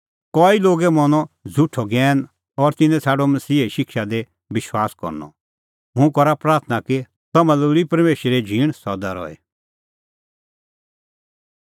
कई लोगै मनअ अह झ़ुठअ ज्ञैन और तिन्नैं छ़ाडअ मसीहे शिक्षा दी विश्वास करनअ हुंह करा प्राथणां कि तम्हां लै लोल़ी परमेशरे झींण सदा रही